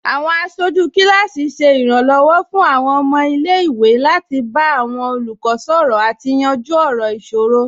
Awọn aṣọju kilasi ṣẹ iranlọwọ fun awọn ọmọ ilẹ̀-iwe lati ba awọn olukọ sọrọ ati yanju awọn iṣoro